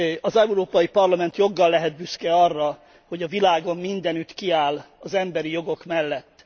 Az Európai Parlament joggal lehet büszke arra, hogy a világon mindenütt kiáll az emberi jogok mellett.